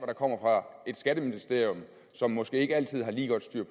der kommer fra skatteministeriet som måske ikke altid har lige godt styr